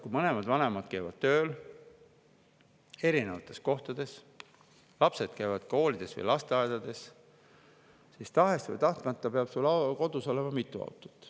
Kui mõlemad vanemad käivad tööl erinevates kohtades, lapsed käivad koolides või lasteaedades, siis tahes või tahtmata peab kodus olema mitu autot.